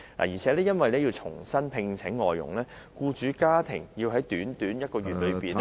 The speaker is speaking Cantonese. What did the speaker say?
而且，由於要重新聘請外傭，僱主家庭更需要在短短一個月內......